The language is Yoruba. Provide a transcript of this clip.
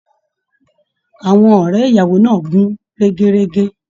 Àwọn ọrẹ ìyàwó náà n gún régérégé